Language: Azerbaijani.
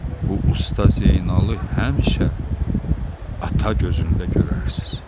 Bu Usta Zeynalı həmişə ata gözündə görərsiz.